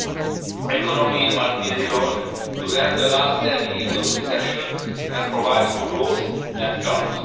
The economy must be relaunched to end the last ten years of recession and provide for growth and jobs.